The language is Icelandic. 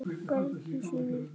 bergi sínu í Kaíró.